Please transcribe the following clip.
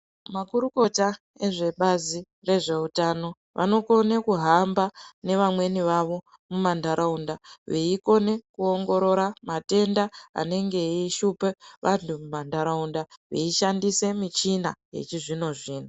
Makurukuta vezve bazh rezvehutano vanokona kuhamba nevamweni vavo mumandaraunda veiokona kuongorora matenda anenge eishupa vantu mumandaraunda veishandisa michina yemazuva ano.